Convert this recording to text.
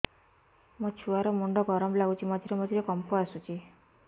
ମୋ ଛୁଆ ର ମୁଣ୍ଡ ଗରମ ଲାଗୁଚି ମଝିରେ ମଝିରେ କମ୍ପ ଆସୁଛି